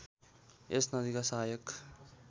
यस नदीका सहायक